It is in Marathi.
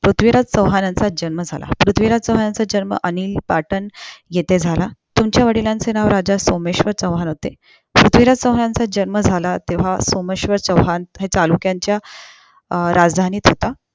पृथ्वीराज चोहानाचा जन्म झाला पृथ्वीराज चोहनाचा जन्म अनिल पठाण येथे झाला तुमच्या वडिलांचे नाव राजा सोमेश्वर चौहान होते पृथ्वीराज चौहानांचा जन्म झाला तेव्हा सोमेश्वर चौहान चालुक्यांच्या अं राजधानीत होता